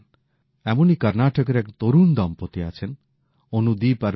এমনই কর্ণাটকের এক তরুণ দম্পতি আছেন অনুদীপ আর মিনুষা